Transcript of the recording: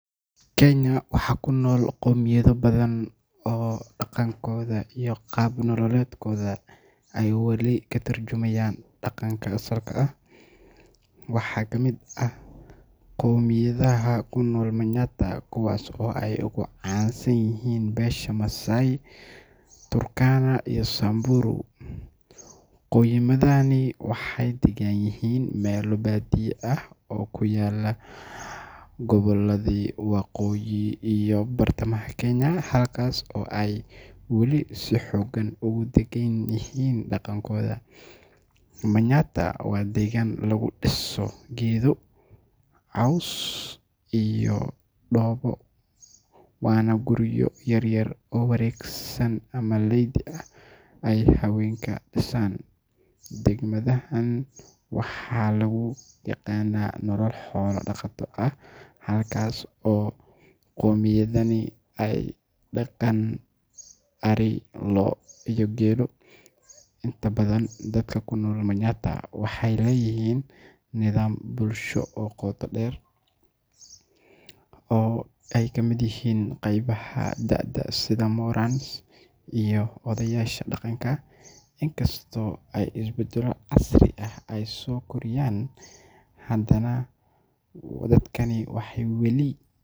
Kenya waxa kunool qoymiyada badan oo dagankoda iyo qab nolaleskoda ay katarjumayan daganka asalka ah, waha kamid ah qoymiyadaha kunool manyatta kuwas oo ay ogucansanyixiin besha massai, turkana iyo samburu, qoymiyadahani waxay daganyixiin mela badiyo ah oo ay kunolyixiin qoboladi waqoyi iyo bartamaha kenya, halkas oo ay wali si hogaan ogudaganyixiin dagankoda, manyatta wa degan lagudiso coos iyo dobo ama guriyo yaryar oo waregsan, ama lidi ah oo ay hawenku disan, dagmadahan waxa laguyagana nolol xola dagato ah taas oo gomiyadani ay dagan ari, loo iyo gedo inta badan dadka kunol manyatta waxay leyixiin nidaam bulshado oo gutaa deer, oo ay kamid yixiin gebaha daada sidha moraan iyo odayasha daganka, isbadalo casti ah ay sokordinyaan hadanah dadkani waxay wali.